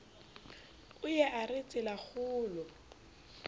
o ye a re tselakgolo